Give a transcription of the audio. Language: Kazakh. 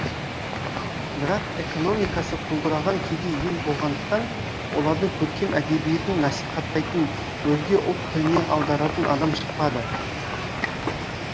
бірақ экономикасы құлдыраған кедей ел болғандықтан олардың көркем әдебиетін насихаттайтын өзге ұлт тіліне аударатын адам шықпады